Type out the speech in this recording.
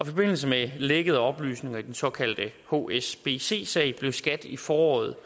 forbindelse med lækkede oplysninger om den såkaldte hsbc sag blev skat i foråret